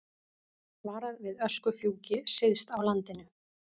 Varað við öskufjúki syðst á landinu